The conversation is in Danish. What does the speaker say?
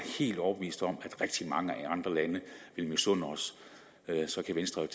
helt overbevist om rigtig mange andre lande vil misunde os så kan venstre jo